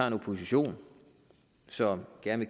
en opposition som gerne